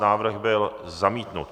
Návrh byl zamítnut.